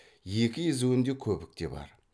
екі езуінде көбік те бар